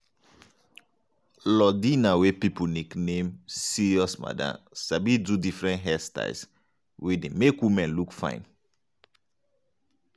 lordina wey pipo nickname 'serious madam' sabi do different hairstyles wey dey make women look fine.